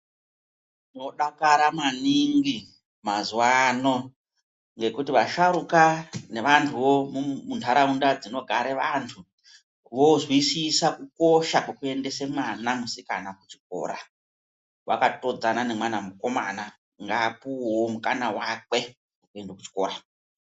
Tinodakara maningi mazuwano ngekuti vasharukwa nevantuwo mundaraunda dzinogare vantu vozwisisa kukosha kwokuendese mwana musikana kuchikora, wakatodzana nemwana mukomana ngapuwewo mukana wake wekuende kuchikora .